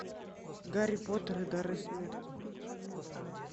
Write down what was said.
гарри поттер и дары смерти